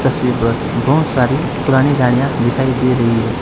तस्वीर पर बहोत सारी पुरानी गाड़ियां दिखाई दे रही है।